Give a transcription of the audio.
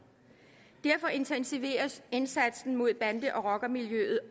derfor intensiveres indsatsen mod bande og rockermiljøet